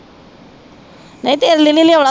ਨਹੀਂ ਤੇਰੇ ਲਈ ਨਹੀਂ ਲਿਆਉਣਾ